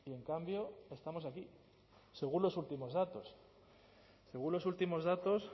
en cambio estamos aquí según los últimos datos según los últimos datos